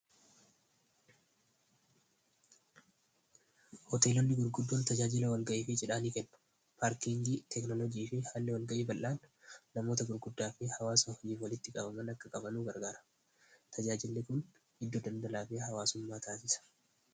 Hooteelonni gurguddoo tajaajila walga'ii fi jedhanii kennu paarki hundii teeknolojii fi haalli walga'ii bal'aan namoota gurguddaa fi hawaasa hojii walitti qabaman akka qabamu gargaara. Tajaajilli kun iddoo daldalaa fi hawaasummaa taasisa.